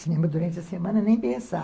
Cinema durante a semana, nem pensar.